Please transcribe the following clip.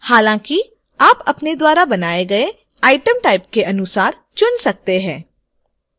हालांकि आप अपने द्वारा बनाए गए item type के अनुसार चुन सकते हैं